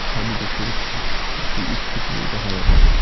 সাইডে দেখতে পাচ্ছি একটি ইস্কুটিও দেখা যাচ্ছে।